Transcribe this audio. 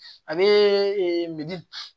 A bɛ meli